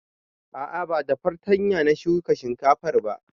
A'a ba da fartanya na shuka shinkafan ba